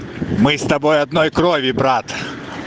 мы с тобой одной крови брат